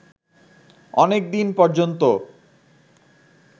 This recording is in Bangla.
অনেকদিন পর্যন্ত